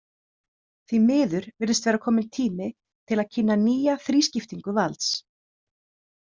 Því miður virðist vera kominn tími til að kynna nýja þrískiptingu valds.